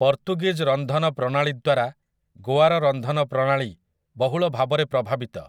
ପର୍ତ୍ତୁଗୀଜ ରନ୍ଧନ ପ୍ରଣାଳୀ ଦ୍ୱାରା ଗୋଆର ରନ୍ଧନ ପ୍ରଣାଳୀ ବହୁଳ ଭାବରେ ପ୍ରଭାବିତ ।